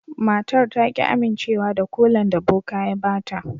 Matar ta ki amincewa da kolan da boka ya ba ta.